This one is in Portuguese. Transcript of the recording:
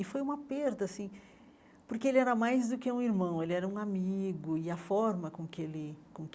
E foi uma perda assim, porque ele era mais do que um irmão, ele era um amigo, e a forma com que ele com que